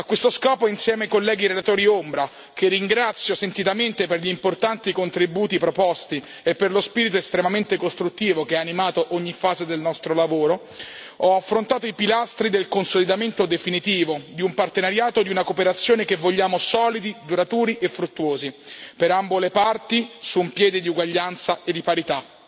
A questo scopo, insieme ai colleghi relatori ombra che ringrazio sentitamente per gli importanti contributi proposti e per lo spirito estremamente costruttivo che ha animato ogni fase del nostro lavoro ho affrontato i pilastri del consolidamento definitivo di un partenariato e di una cooperazione che vogliamo solidi, duraturi e fruttuosi per ambo le parti, su un piede di uguaglianza e di parità.